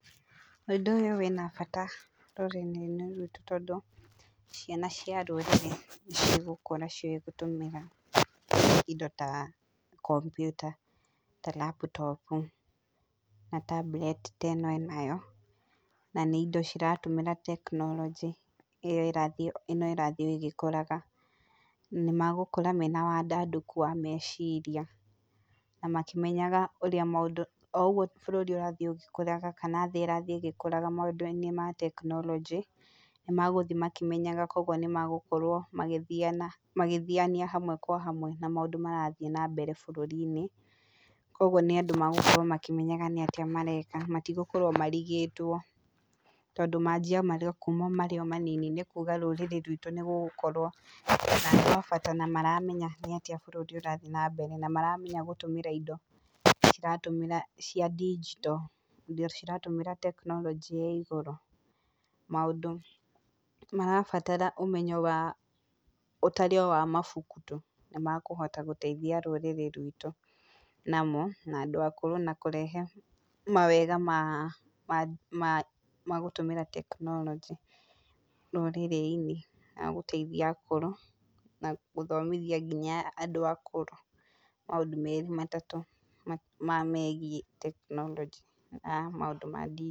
Ũndũ ũyũ wĩna bata rũrĩrĩ-inĩ rwitũ tondũ ciana cia rũrĩrĩ nĩ cigũkũra ciũĩ gũtũmĩra indo ta kompiuta ta laptop na tablet ta ĩno enayo. Nĩ indo ciratũmĩra tekinoronjĩ ĩno ĩrathiĩ o ĩgĩkũraga. Nĩmagũkũra mena wandandũku wa meciria na makĩmenyaga ũrĩa maũndũ o ũguo bũrũri ũrathiĩ ũgĩkũraga kana thĩ ĩrathiĩ ĩgĩkũraga maũndũ-inĩ ma tekinoronjĩ, nĩ megũthiĩ makĩmenyaga. Koguo nĩ megũkorwo magĩthiania hamwe kwa hamwe na maũndũ marathiĩ nambere bũrũri-inĩ. Koguo nĩ andũ megũkũra makĩmenyaga nĩ atĩa mareka matigũkũra marigĩtwo tondũ manjia kuuma marĩ o manini. Nĩ kuuga rũrĩrĩ rwitũ nĩ gũgũkorwo bata na maramenya nĩ atĩa bũrũri ũrathiĩ na mbere, na maramenya gũtũmĩra indo ciratũmĩra cia ndigito indo ciratũmĩra tekinoronjĩ ya igũrũ. Maũndũ marabatara ũmenyo wa ũtarĩ o wa mabuku tũ nĩmekũhota gũteithia rũrĩrĩ rwitũ namo, na andũ akũrũ na kũrehe mawega magũtũmĩra tekinoronjĩ rũrĩrĩ-inĩ na agũteithia akũrũ na gũthomithia nginya andũ akũrũ maũndũ merĩ matatũ marĩa megiĩ tekinoronjĩ ya maũndũ ma ndi...